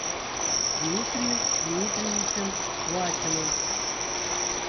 дмитрием дмитриевичем васиным